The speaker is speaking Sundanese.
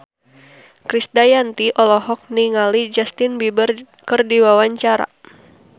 Krisdayanti olohok ningali Justin Beiber keur diwawancara